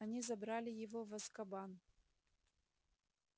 они забрали его в азкабан